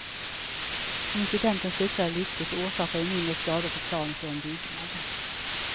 Incidenten slutade lyckligt och orsakade mindre skador på planet och en byggnad.